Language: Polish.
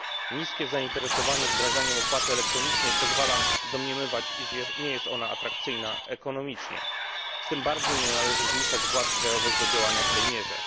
Niskie zainteresowanie wdrażaniem opłaty elektronicznej pozwala domniemywać, iż nie jest ona atrakcyjna ekonomicznie. Tym bardziej nie należy zmuszać władz krajowych do działania w tej mierze.